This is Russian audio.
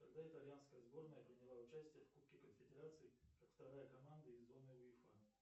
когда итальянская сборная приняла участие в кубке конфедерации как вторая команда из зоны уефа